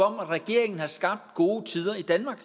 om at regeringen har skabt gode tider i danmark